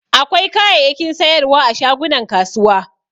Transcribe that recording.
Akwai kayayyakin sayarwa a shagunan kasuwa.